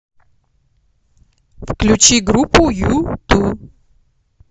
включи группу юту